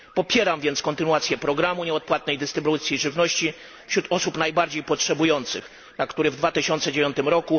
Popieram więc kontynuację programu nieodpłatnej dystrybucji żywności wśród osób najbardziej potrzebujących, na które w 2009 r.